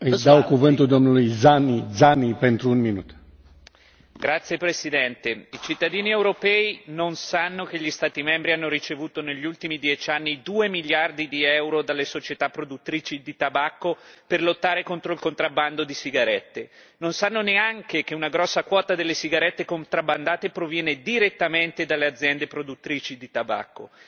Signor Presidente, onorevoli colleghi, i cittadini europei non sanno che gli Stati membri hanno ricevuto negli ultimi 10 anni 2 miliardi di euro dalle società produttrici di tabacco per lottare contro il contrabbando di sigarette. Non sanno neanche che una grossa quota delle sigarette contrabbandate proviene direttamente dalle aziende produttrici di tabacco.